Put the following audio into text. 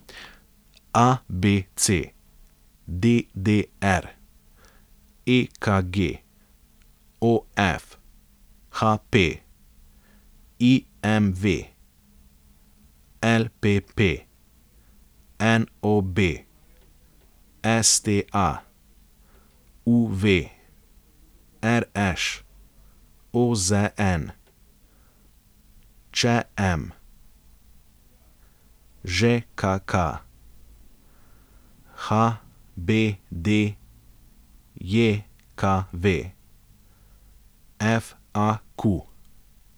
ABC, DDR, EKG, OF, HP, IMV, LPP, NOB, STA, UV, RŠ, OZN, ČM, ŽKK, HBDJKV, FAQ.